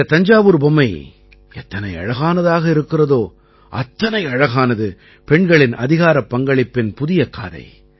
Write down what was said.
இந்த தஞ்சாவூர் பொம்மை எத்தனை அழகானதாக இருக்கிறதோ அத்தனை அழகானது பெண்களின் அதிகாரப் பங்களிப்பின் புதிய காதை